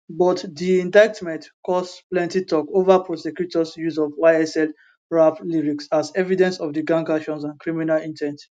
but di indictment cause plenty talk over prosecutors use of ysl rap lyrics as evidence of di gang actions and criminal in ten t